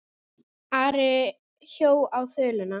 Ari hjó á þuluna.